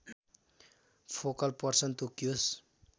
focal person तोकियोस्